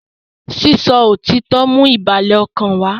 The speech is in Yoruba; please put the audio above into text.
sísọ òtítọ ń mú ìbàlẹ̀ ọkàn wá